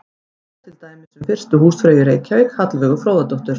Svo er til dæmis um fyrstu húsfreyju í Reykjavík, Hallveigu Fróðadóttur.